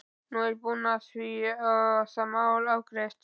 Nú er ég búinn að því og það mál afgreitt.